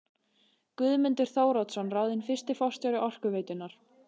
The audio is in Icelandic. Guðmundur Þóroddsson ráðinn fyrsti forstjóri Orkuveitunnar.